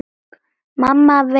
Mamma veit best.